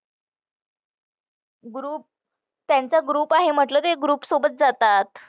group त्यांचा group आहे म्हंटलं ते group सोबत जातात.